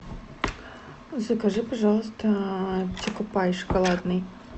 закажи пожалуйста чокопай шоколадный